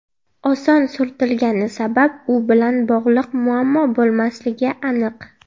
Oson surtilgani sabab u bilan bog‘liq muammo bo‘lmasligi aniq.